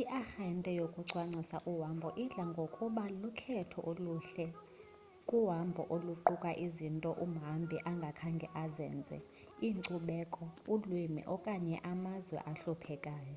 iarhente yokucwangcisa uhambo idla ngokuba lukhetho oluhle kuhambo oluquka izinto umhambi angakhange azenze inkcubeko ulwimi okanye amazwe ahluphekayo